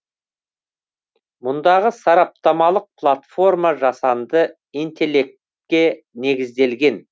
мұндағы сараптамалық платформа жасанды интеллектке негізделген